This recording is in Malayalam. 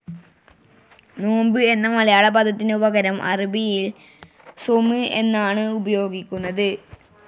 നോമ്പ് എന്ന മലയാള പദത്തിനു പകരം അറബിയിൽ സ്വൗമ് എന്നാണ് ഉപയോഗിക്കുന്നത്.